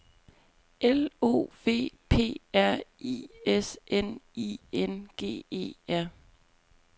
L O V P R I S N I N G E R